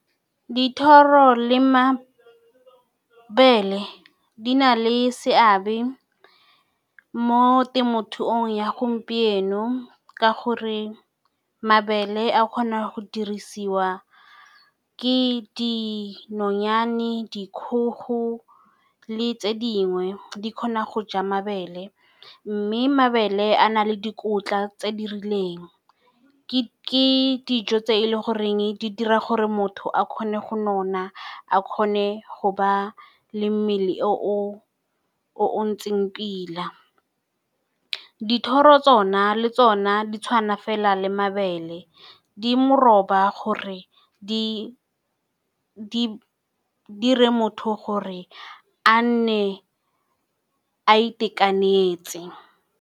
Dithoro le mabele di na le seabe mo temothuong ya gompieno ka gore mabele a kgona go dirisiwa ke dinonyane, dikgogo, le tse dingwe di kgona go ja mabele, mme mabele a na le dikotla tse di rileng ke dijo tse e leng goreng di dira gore motho a kgone go nona, a kgone go ba le mmele o o ntseng pila. Dithoro tsona le tsona di tshwana fela le mabele di meroba gore di dire motho gore a nne a itekanetse.